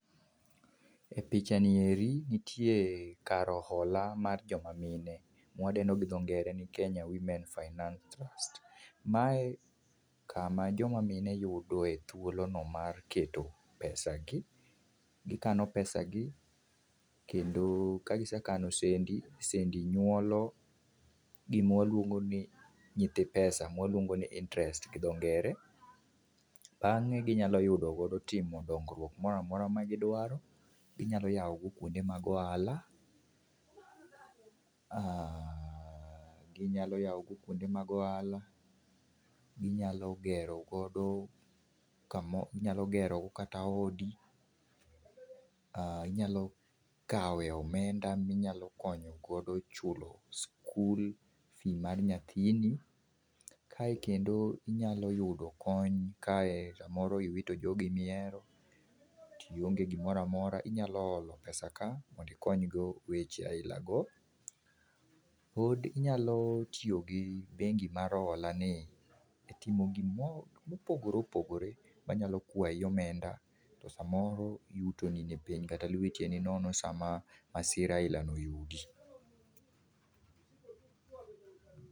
E picha ni eri, nitie kar ohola mar jomamine, mwadendo gi dho ngere ni Kenya Women Finance Trust. Mae kama joma mine yudoe thuolono mar keto pesagi. Gikano pesagi, kendo ka gisekani sendi, sendi nyuolo gimawaluongoni nyithi pesa, mwaluongoni interest gi dho ngere, bangé ginyalo yudo godo timo dongruok moramora magidwaro. Ginyalo yao go kwonde mag ohala, ginyalo yaogo kwonde mag ohala, ginyalo gero godo, inyalo gero go kata odi, inyalo kawe omenda minyalo konyo godo chulo skul fee mar nyathini. Kae kendo inyalo yudo kony kae samoro iwito jogeni mihero, tionge gimoro amora, inyalo holo pesa ka mondo ikonygo weche aila go. Pod inyalo tiyo gi bengi mar hola ni e timo gimo mogoreopogore manyalo kwayi omenda, to samoro yutoni ni piny, kata lweti e ni nono sama masira aila no oyudi.